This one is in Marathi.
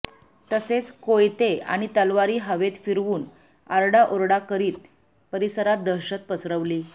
तसेच कोयते आणि तलवारी हवेत फिरवून आरडाओरडा करीत परिसरात दहशत पसरवली